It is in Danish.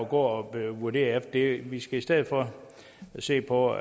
gå at vurdere efter det vi skal i stedet for se på